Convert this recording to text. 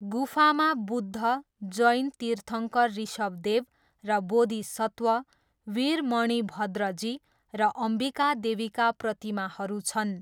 गुफामा बुद्ध, जैन तीर्थङ्कर वृषभदेव, र बोधिसत्व, वीर मणिभद्रजी र अम्बिकादेवीका प्रतिमाहरू छन्।